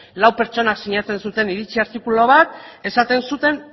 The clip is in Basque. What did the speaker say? lau pertsonak sinatu zuten iritzi artikulu bat esaten zuten